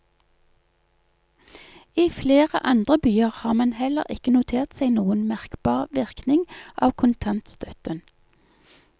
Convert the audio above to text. I flere andre byer har man heller ikke notert seg noen merkbar virkning av kontantstøtten.